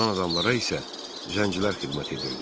Qalan adamlara isə zəngcilər xidmət edirdi.